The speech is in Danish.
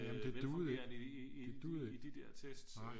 Velfungerende i de i de der tests